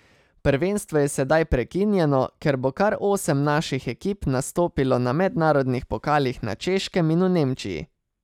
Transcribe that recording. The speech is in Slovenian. Prvenstvo je sedaj prekinjeno, ker bo kar osem naših ekip nastopilo na mednarodnih pokalih na Češkem in v Nemčiji.